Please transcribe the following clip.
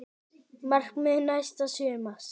Markmið næsta sumars?